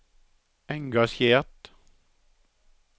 engasjert